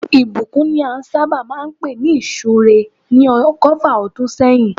Ìbùkún ni a sábà máa ń pè ní ìsúre ní ọgọ́fà ọdún sẹ́yìn